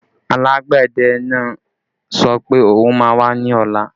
Alágbẹ̀dẹ náà sọ pé òun má wá ní ọ̀la